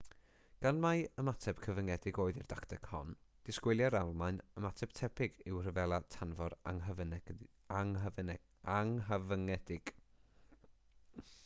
gan mai ymateb cyfyngedig oedd i'r dacteg hon disgwyliai'r almaen ymateb tebyg i'w rhyfela tanfor anghyfyngedig